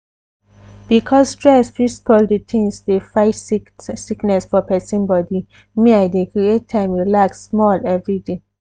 because stress fit spoil the thiings dey fight sickness for persin body me i dey create time relax small everyday.